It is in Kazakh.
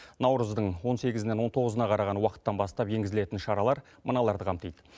наурыздың он сегізінен он тоғызына қараған уақыттан бастап енгізілетін шаралар мыналарды қамтиды